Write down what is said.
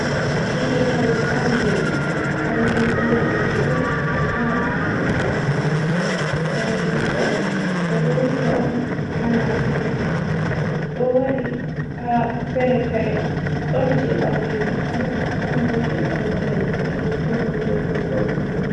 Hunde sorgo ha lumo, kanjum ɗo urdi on ɓe sorata ha ɗoɗɗon majum, kanjum ɗo, ɓe ɗo wuja on ha nafki, ɗo wari ha fere-fere, ɗon je ɓalejum man, ɗon bo je kolba danejum, ɗon bo je kolba bulu.